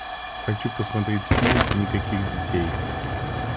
хочу посмотреть фильм никаких детей